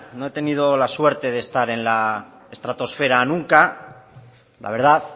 no he tenido la suerte de estar en la estratosfera nunca la verdad